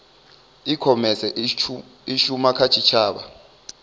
ikhomese i shuma kha tshitshavha